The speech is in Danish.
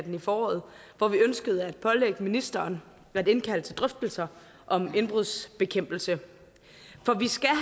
i foråret hvor vi ønskede at pålægge ministeren at indkalde til drøftelser om indbrudsbekæmpelse for vi skal